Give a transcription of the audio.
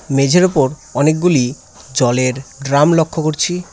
মেঝের ওপর অনেকগুলি জলের ড্রাম লক্ষ্য করছি।